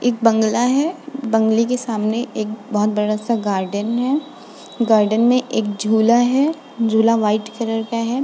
एक बंगला है। बंगले के सामने एक बहोत बड़ा सा गार्डन है। गार्डन में एक झूला है। झूला वाइट कलर का है।